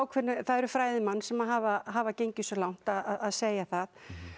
það eru fræðimenn sem hafa hafa gengið svo langt að segja það